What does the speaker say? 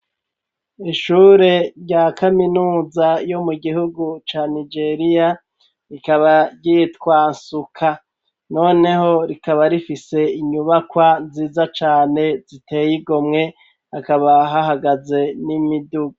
Ishure rya kaminuza yo mu gihugu ca nijeriya rikaba ryitwansuka, noneho rikaba rifise inyubakwa nziza cane ziteye igomwe akaba hahagaze n'imidugu.